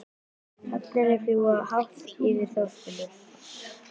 Hrafnarnir fljúga hátt yfir þorpinu.